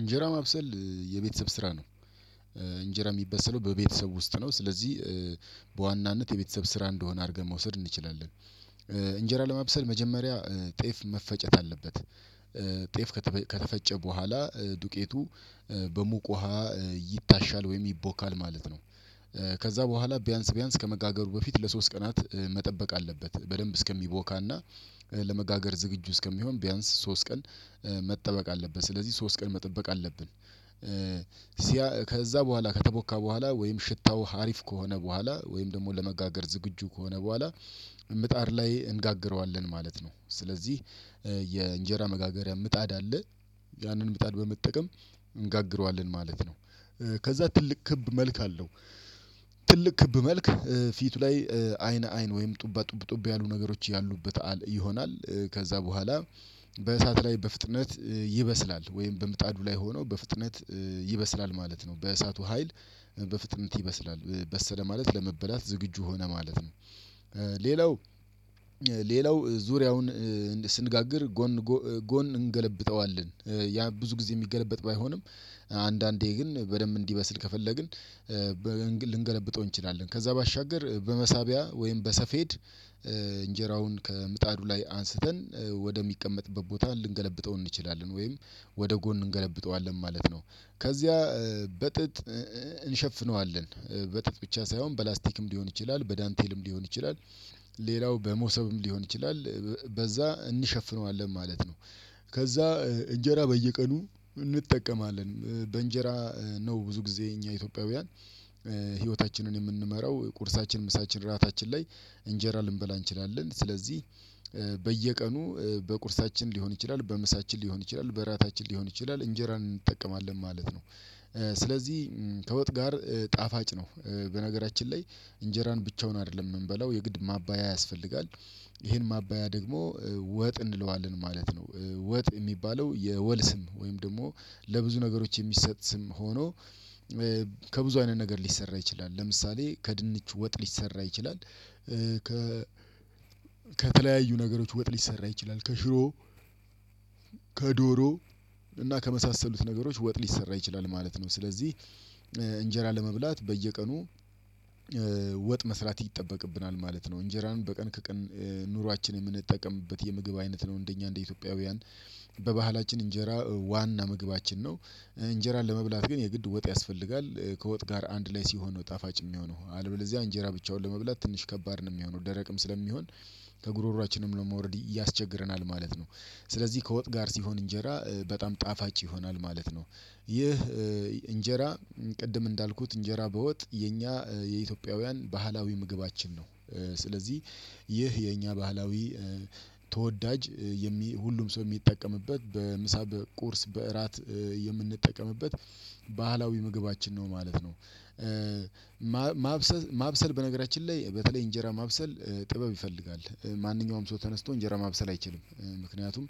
እንጀራ ማብሰል የቤተሰብ ስራ ነው። እንጀራ የሚብሰለው በቤተሰብ ውስጥ ነው። ስለዚህ በዋናነት የቤተሰብ ስራ እንደሆነ አድርገን መውሰድ እንችላለን። እንጀራ ለማብሰል መጀመሪያ ጤፍ መፈጨት አለበት። ጤፍ ከተፈጨ በኋላ ዱቄቱ በሙቅ ውሃ ይታሻል ወይም ይቦካል ማለት ነው። ከዛ በኋላ ቢያንስ ቢያንስ ከመጋገሩ በፊት ለሶስት ቀናት መጠበቅ አለበት በደንብ እስከሚቦካና ለመጋገር ዝግጁ እስከሚሆን ቢያንስ ሶስት ቀን መጠበቅ አለብን ስለዚህ ሶስት ቀን መጠበቅ አለብን። ከዛ በኋላ ከተቦካ በኋላ ወይም ሽታው ሀሪፍ ከሆነ በኋላ ወይም ደግሞ ለመጋገር ዝግጁ ከሆነ በኋላ ምጣድ ላይ እንጋግረዋለን ማለት ነው። ስለዚህ የእንጀራ መጋገሪያ ምጣድ አለ ያንን ምጣድ በመጠቀም እንጋግረዋለን ማለት ነው። ከዛ ትልቅ ክብ መልክ አለው። ትልቅ ክብ መልክ ፊቱ ላይ አይን አይን ወይም ጡባ ጡብ ጡብ ያሉ ነገሮች ያሉበት ይሆናል። ከዛ በኋላ በእሳት ላይ በፍጥነት ይበስላል ወይም በምጣዱ ላይ ሆኖ በፍጥነት ይበስላል ማለት ነው በእሳቱ ሀይል በፍጥነት ይበስላል በሰለ ማለት ለመበላት ዝግጁ ሆነ ማለት ነው። ሌላው ሌላው ዙሪያውን ስንጋግር ጎን ጎን እንገለብጠዋለን ያ ብዙ ጊዜ የሚገለብጥ ባይሆንም አንዳንዴ ግን በደንብ እንዲበስል ከፈለግን። ልንገለብጠው እንችላለን ከዛ ባሻገር በመሳቢያ ወይም በሰፌድ እንጀራውን ከምጣዱ ላይ አንስተን ወደሚቀመጥበት ቦታ ልንገለብጠው እንችላለን ወይም ወደ ጎን እንገለብጠዋለን ማለት ነው። ከዚያ በጥጥ እንሸፍነዋለን በጥጥ ብቻ ሳይሆን በላስቲክም ሊሆን ይችላል በዳንቴልም ሊሆን ይችላል። ሌላው በመሶብም ሊሆን ይችላል በዛ እንሸፍነዋለን ማለት ነው። ከዛ እንጀራ በየቀኑ እንጠቀማለን በእንጀራ ነው ብዙ ጊዜ እኛ ኢትዮጵያውያን ህይወታችንን የምንመራው ቁርሳችን ምሳችን ራታችን ላይ እንጀራ ልንበላ እንችላለን ስለዚህ በየቀኑ በቁርሳችን ሊሆን ይችላል በምሳችን ሊሆን ይችላል በራታችን ሊሆን ይችላል እንጀራ እንጠቀማለን ማለት ነው። ስለዚህ ከወጥ ጋር ጣፋጭ ነው በነገራችን ላይ እንጀራን ብቻውን አይደለም የምንበላው የግድ ማባያ ያስፈልጋል። ይሄን ማባያ ደግሞ ወጥ እንለዋለን ማለት ነው። ወጥ የሚባለው የወል ስም ወይም ደግሞ ለብዙ ነገሮች የሚሰጥ ስም ሆኖ ከብዙ አይነት ነገር ሊሰራ ይችላል ለምሳሌ ከድንች ወጥ ሊሰራ ይችላል። ከ ከተለያዩ ነገሮች ወጥ ሊሰራ ይችላል ከሽሮ ከዶሮ እና ከመሳሰሉት ነገሮች ወጥ ሊሰራ ይችላል ማለት ነው። ስለዚህ እንጀራ ለመብላት በየቀኑ ወጥ መስራት ይጠበቅብናል ማለት ነው። እንጀራን በቀን ከቀን ኑሯችንን የምንጠቀምበት የምግብ አይነት ነው። እንደኛ እንደ ኢትዮጵያውያን በባህላችን እንጀራ ዋና ምግባችን ነው። እንጀራ ለመብላት ግን የግድ ወጥ ያስፈልጋል ከወጥ ጋር አንድ ላይ ሲሆን ነው ጣፋጭ የሚሆነው አለበለዚያ እንጀራ ብቻውን ለመብላት ትንሽ ከባድ ነው የሚሆነው ደረቅም ስለሚሆን ከጉሮሮአችንም ለመውረድ ያስቸግረናል ማለት ነው። ስለዚህ ከወጥ ጋር ሲሆን እንጀራ በጣም ጣፋጭ ይሆናል ማለት ነው። ይህ እንጀራ ቅድም እንዳልኩት እንጀራ በወጥ የኛ የኢትዮጵያውያን ባህላዊ ምግባችን ነው። ስለዚህ ይህ የኛ ባህላዊ ተወዳጅ የሚ ሁሉም ሰው የሚጠቀምበት በምሳ በቁርስ በእራት የምንጠቀምበት ምግባችን ነው ማለት ነው። ማብሰል ማብሰል በነገራችን ላይ በተለይ እንጀራ ማብሰል ጥበብ ይፈልጋል ማንኛውም ሰው ተነስቶ እንጀራ ማብሰል አይችልም። ምክንያቱም